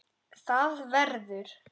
ÞAÐ VERÐUR